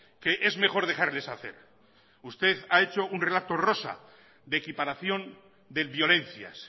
que es mejor dejarles hacer usted ha hecho un relato rosa de equiparación de violencias